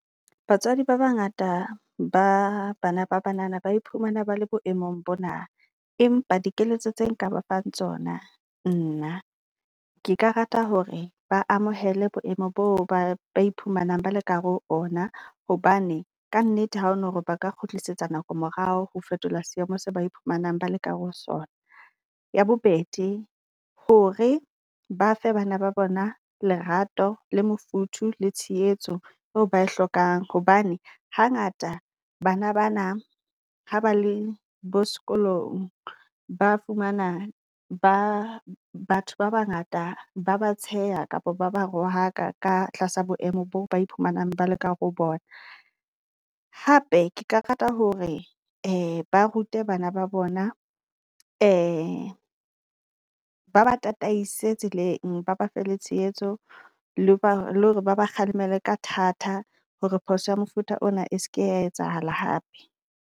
Batswadi ba ba ngata ba bana ba banana ba iphumana ba le boemong bona, empa dikeletso tse nka ba fang tsona. Nnaa ke ka rata hore ba amohele boemo bo ba ba iphumanang ba le kahare ho ona, hobane ka nnete ha ono hore ba ka kgutlisetsa nako morao, ho fetola seemo se ba iphumanang ba leka ho sona. Ya bobedi hore ba fe bana ba bona lerato le mofuthu le tshehetso eo ba e hlokang hobane hangata bana bana ha ba le bo sekolong, ba fumana ba batho ba bangata ba ba tsheha kapa ba ba rohakwa ka tlasa boemo boo ba iphumanang ba le ka ho bona. Hape ke karata hore ba rute bana ba bona ba ba tataise tseleng, ba ba fe le tshehetso. Le ba le hore ba ba kgalemele ka thata hore phoso ya mofuta ona e seke ya etsahala hape.